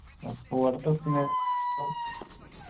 അപ്പൊ അടുത്ത question ആ